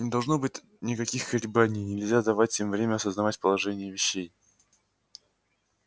не должно быть никаких колебаний нельзя давать им время осознать положение вещей